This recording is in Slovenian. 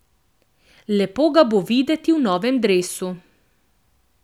Lepo ga bo videti v novem dresu.